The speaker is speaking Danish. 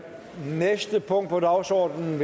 næste punkt på dagsordenen